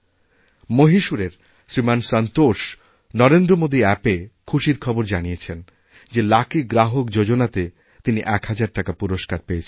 মহীশূরের শ্রীমান সন্তোষ নরেন্দ্রমোদীঅ্যাপএ খুশির খবরজানিয়েছেন যে লাকি গ্রাহক যোজনাতে তিনি ১ হাজার টাকা পুরস্কার পেয়েছেন